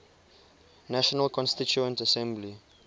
national constituent assembly